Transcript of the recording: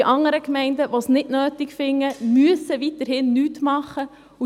Die anderen Gemeinden, welche es nicht notwendig finden, müssen weiterhin nichts tun.